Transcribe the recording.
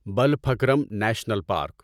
Balphakram National park